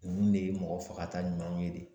Nunnu de ye mɔgɔ faga ta ɲumanw ye de.